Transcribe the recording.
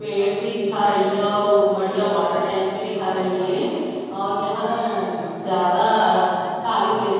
पेड़ भी दिखा रही है और वो बढ़िया वाटर टैंक भी दिखा रही है और यहां ज्यादा खाली प्लेट --